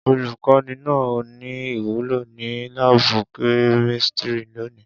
Olukọni naa ni iwulo ni laabu kemistri loni.